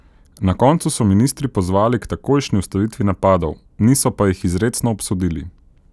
Na koncu so ministri pozvali k takojšnji ustavitvi napadov, niso pa jih izrecno obsodili.